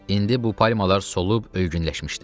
İndi bu palmalar solub ölgünləşmişdi.